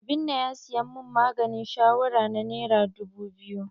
Obinna ya siyan min maganin shawara na nera dubu biyu.